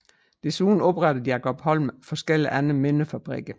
Desuden oprettede Jacob Holm forskellige andre mindre fabrikker